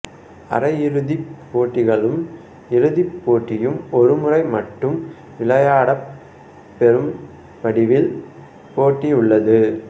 அரையிறுதிப் போட்டிகளும் இறுதிப் போட்டியும் ஒருமுறை மட்டும் விளையாடப்பெறும் வடிவில் போட்டி உள்ளது